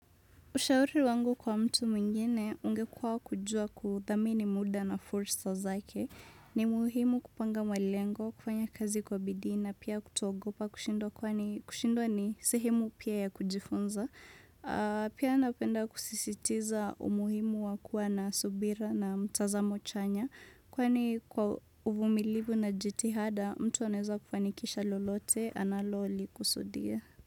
Ushauri wangu kwa mtu mwingine ungekuwa kujua kudhamini muda na fursa zake. Ni muhimu kupanga malengo, kufanya kazi kwa bidii na pia kutoogopa kushindwa kwani kushindwa ni sehemu pia ya kujifunza. Pia napenda kusisitiza umuhimu wa kuwa na subira na mtazamo chanya. Kwani kwa uvumilivu na jitihada, mtu anaweza kufanikisha lolote, analolikusudia.